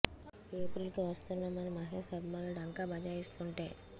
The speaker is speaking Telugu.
ఎప్రిల్ కి వస్తున్నాం అని మహేష్ అభిమానులు ఢంకా బజాయిస్తోంటే